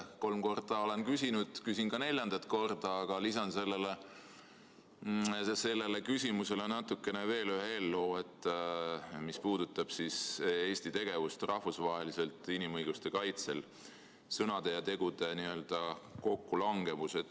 Kolm korda olen küsinud, küsin ka neljandat korda, aga lisan sellele küsimusele veel ühe eelloo, mis puudutab Eesti tegevust rahvusvaheliselt inimõiguste kaitsel, sõnade ja tegude kokkulangevust.